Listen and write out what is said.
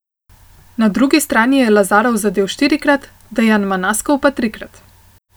Na drugi strani je Lazarov zadel štirikrat, Dejan Manaskov pa trikrat.